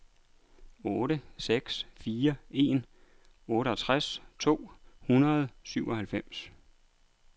otte seks fire en otteogtres to hundrede og syvoghalvfems